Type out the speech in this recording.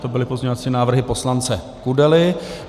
To byly pozměňovací návrhy poslance Kudely.